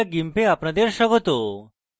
meet the gimp এ আপনাদের স্বাগত